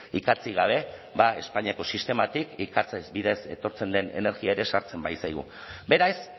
ikatzik gabe ba espainiako sistematik ikatzez bidez etortzen den energia ere sartzen baitzaigu beraz